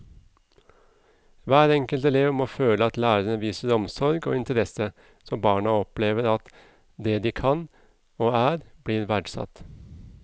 Hver enkelt elev må føle at læreren viser omsorg og interesse, så barna opplever at det de kan og er blir verdsatt.